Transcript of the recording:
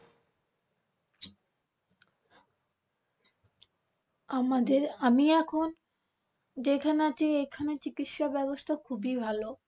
আমাদের আমি এখন যেইখানে আছি এখানের চিকিৎসা ব্যবস্থা খুবই ভালো।